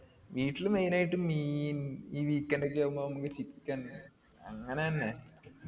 വീട്ടിൽ main ആയിട്ട് മീൻ ഈ weekend ഒക്കെ ആവുമ്പൊ നമുക്ക് chicken അങ്ങനെ തന്നെ